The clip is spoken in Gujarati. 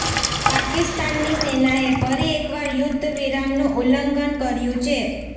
પાકિસ્તાની સેનાએ ફરી એકવાર યુદ્ધ વિરામનું ઉલ્લંઘન કર્યું છે